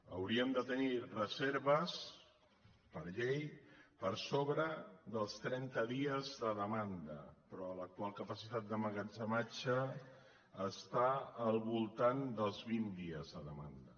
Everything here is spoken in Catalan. hauríem de tenir reser·ves per llei per sobre dels trenta dies de demanda pe·rò l’actual capacitat d’emmagatzematge està al voltant dels vint dies de demanda